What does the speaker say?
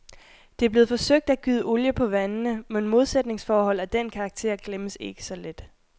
Det er blevet forsøgt at gyde olie på vandene, men modsætningsforhold af den karakter glemmes ikke så let.